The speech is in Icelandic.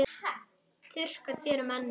Þurrkar þér um ennið.